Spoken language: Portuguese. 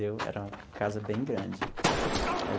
E era uma casa bem grande aí.